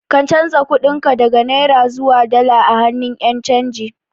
Ka canza kuɗin ka daga Naira zuwa dala a hannun Ƴan canji